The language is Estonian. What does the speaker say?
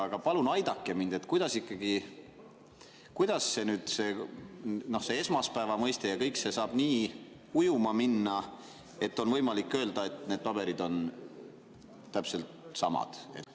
Aga palun aidake mind, kuidas ikkagi see esmaspäeva mõiste ja kõik see saab nii ujuma minna, et on võimalik öelda, et need paberid on täpselt samad.